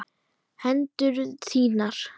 Hendur þínar.